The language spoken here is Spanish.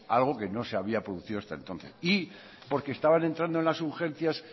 algo que no se había producido hasta entonces y porque estaban entrando en las urgencias